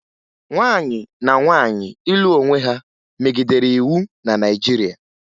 Nwanyị na nwaanyị ịlụ onwe ha megidere iwu na Naịjirịa